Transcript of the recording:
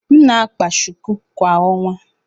M na-akpa shuku kwa ọnwa.